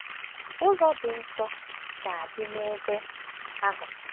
Ụzọ Ịdị Nsọ Ga-adị n’Ebe Ahụ